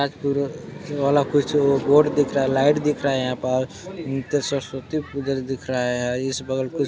राजपुर वाला कुछ ओ बोर्ड दिख रहा है लाइट दिख रहा है यहाँ पर अ -न- त- सरस्वती पुजन दिख रहा है इस बगल पे--